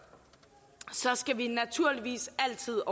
skal vi naturligvis altid